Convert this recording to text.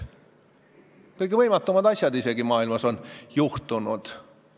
Isegi kõige võimatumad asjad on maailmas juhtunud.